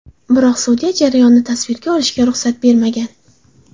Biroq sudya jarayonni tasvirga olishga ruxsat bermagan.